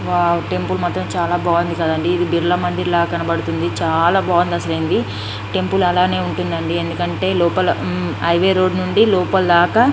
Wow temple మాత్రం చాలా బాగుంది కాదండి ఇది బిర్లా మందిర్ లాగా కనబడుతుంది. చాలా బాగుంది. అసలా ఇది టెంపుల్ అలానే ఉంటుందండి ఎందుకంటే లోపల హైవే రోడ్డు నుండి లోపల దాకా --